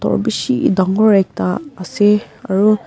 aro beshi tangore ekta ase aro.